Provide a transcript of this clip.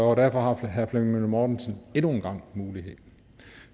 og derfor har herre flemming møller mortensen endnu en gang muligheden